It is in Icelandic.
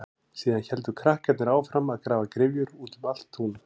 Síðan héldu krakkarnir áfram að grafa gryfjur út um allt tún.